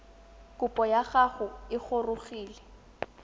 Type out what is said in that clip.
kopo ya gago e gorogile